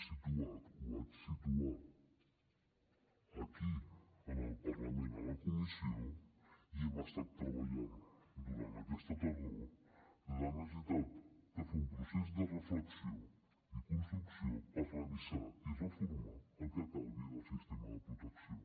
el vaig situar aquí en el parlament en la comissió i hi hem estat treballant durant aquesta tardor la necessitat de fer un procés de reflexió i construcció per revisar i reformar el que calgui del sistema de protecció